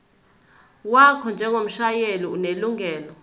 wakho njengomshayeli onelungelo